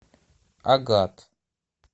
агат